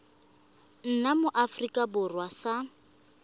nna mo aforika borwa sa